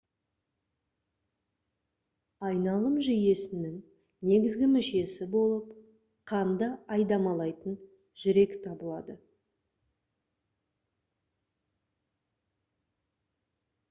айналым жүйесінің негізгі мүшесі болып қанды айдамалайтын жүрек табылады